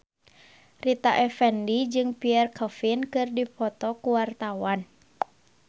Rita Effendy jeung Pierre Coffin keur dipoto ku wartawan